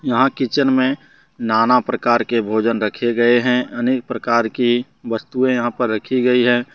यहां किचन में ना ना प्रकार के भोजन रखे गए हैं अनेक प्रकार की वस्तुएं यहां पर रखी गई है।